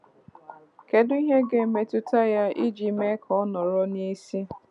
Kedu ihe ndị ga-emetụta ya iji mee ka ọ nọrọ n'isi?